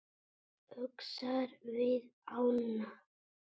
Öxar við ána